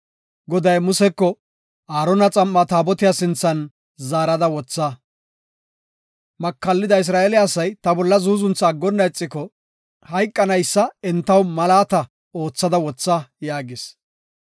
Goday Museko, “Aarona xam7aa Taabotiya sinthan zaarada wotha. Makallida Isra7eele asay ta bolla zuuzuntha aggonna ixiko hayqanaysa entaw malaata oothada wotha” yaagis.